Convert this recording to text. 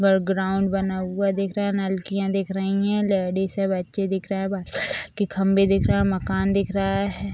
बड़ ग्राउंड बना हुआ दिख रहा है नलकिया दिख रही है लेडीज और बच्चे दिख रहे है वाइट कलर के खम्बे दिख रहे है और मकान दिख रहा है |